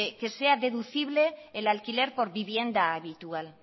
que sea deducible el alquiler por vivienda habitual